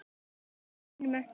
Fylgja sínum eftir.